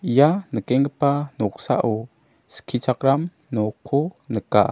ia nikenggipa noksao skichakram nokko nika.